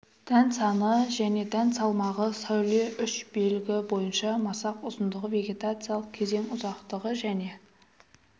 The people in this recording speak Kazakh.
дән саны және дән салмағы сәуле үш белгі бойынша масақ ұзындығы вегетациялық кезең ұзақтығы және